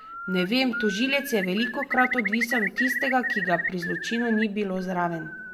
Ne vem, tožilec je velikokrat odvisen od tistega, ki ga pri zločinu ni bilo zraven.